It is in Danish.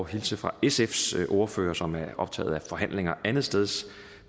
hilse fra sfs ordfører som er optaget af forhandlinger andetsteds